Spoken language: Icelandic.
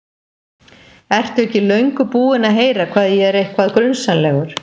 Ertu ekki löngu búinn að heyra hvað ég er eitthvað. grunsamlegur?